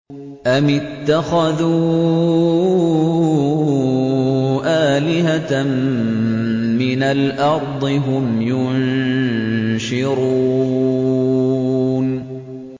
أَمِ اتَّخَذُوا آلِهَةً مِّنَ الْأَرْضِ هُمْ يُنشِرُونَ